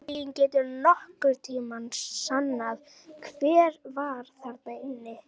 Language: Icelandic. Enginn getur nokkurn tíma sannað hver var þarna inni!